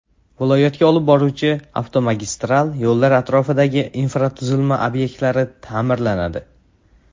Viloyatga olib boruvchi avtomagistral yo‘llar atrofidagi infratuzilma obyektlari ta’mirlanadi.